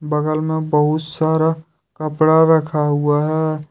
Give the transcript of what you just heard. बगल में बहुत सारा कपड़ा रखा हुआ है।